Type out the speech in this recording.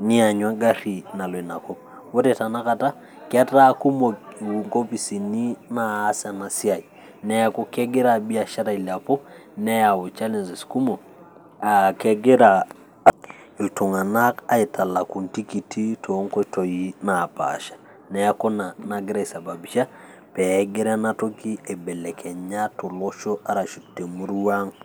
niyanyu egari nallo ina kop. ore tena kata etaa kumok inkopisini naas ena siai neeku kegira biashara ailepu, neyau challenges kumok, kegira iltunganak aitalaku intkiti too nkoitoi napaasha. neeku ina nagira aisababisha pee gira ena toki aibeeleknya toolosho.